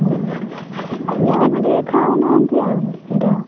ପିଲାମାନେ ଟିକେ ଖାଉନାହାନ୍ତି ଆଉ ସେଟା।